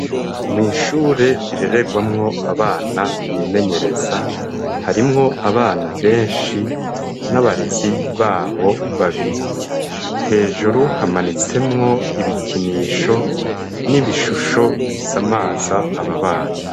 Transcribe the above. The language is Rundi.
Mwishure rirererwamwo abana bimenyereza harimwo abana benshi n'abarezi babo babiri hejuru hamanitsemwo ibikinisho n'ibishusho bisa amaza ababana.